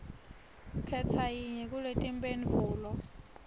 khetsa yinye kuletimphendvulo